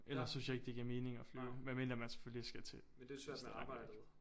Ellers synes jeg ikke det giver mening at flyve medmindre man selvfølgelig skal til et sted langt væk